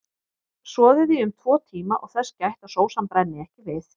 Soðið í um tvo tíma og þess gætt að sósan brenni ekki við.